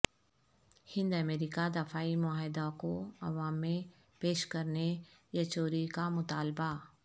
ہند America دفاعی معاہدہ کو عوام میں پیش کرنے یچوری کا مطالبہ